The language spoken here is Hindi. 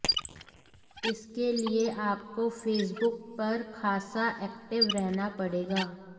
इसके लिए आपको फेसबुक पर खासा एक्टिव रहना पड़ेगा